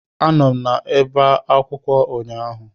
Anọ m n'ọba akwụkwọ ụnyaahụ